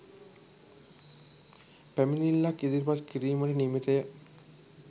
පැමිණිල්ලක් ඉදිරිපත් කිරීමට නියමිතය